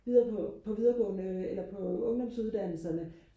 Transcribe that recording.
videre på på videregående eller på ungdomsuddannelserne